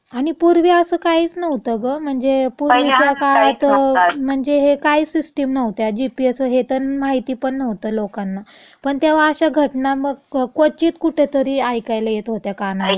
आणि पूर्वी असं काहीच नव्हतं गं, म्हणजे पूर्वीच्या काळात म्हणजे हे काही सिस्टम नव्हत्या, जीपीएसं हे तं माहितीपण नव्हत लोकांना, पण तेव्हा अशा घटना मग क्वचित कुठेतरी ऐकायला येत व्हत्या कानावारती. पहिले हां, हां काहीच नव्हतं असं.